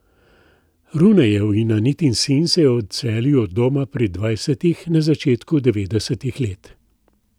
Runejev in Anitin sin se je odselil od doma pri dvajsetih, na začetku devetdesetih let.